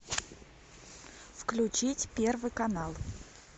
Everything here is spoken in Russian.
включить первый канал